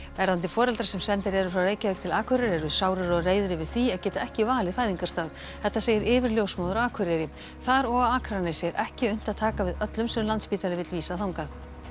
verðandi foreldrar sem sendir eru frá Reykjavík til Akureyrar eru sárir og reiðir yfir því að geta ekki valið fæðingarstað þetta segir yfirljósmóðir á Akureyri þar og á Akranesi er ekki unnt að taka við öllum sem Landspítali vill vísa þangað